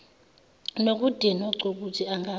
nokudinwa cukuthi angaba